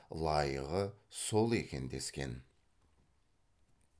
лайығы сол екен дескен